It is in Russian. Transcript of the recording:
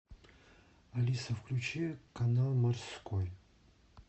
алиса включи канал морской